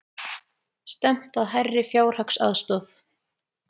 Stefnt að hærri fjárhagsaðstoð